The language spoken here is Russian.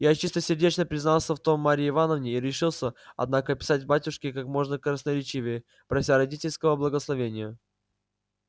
я чистосердечно признался в том марье ивановне и решился однако писать к батюшке как можно красноречивее прося родительского благословения